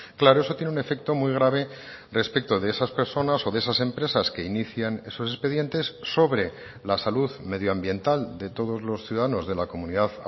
claro eso tiene un efecto muy grave respecto de esas personas o de esas empresas que inician esos expedientes sobre la salud medioambiental de todos los ciudadanos de la comunidad